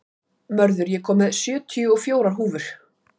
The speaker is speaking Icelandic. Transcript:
Mörður, ég kom með sjötíu og fjórar húfur!